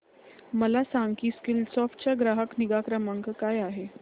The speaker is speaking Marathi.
मला सांग की स्कीलसॉफ्ट चा ग्राहक निगा क्रमांक काय आहे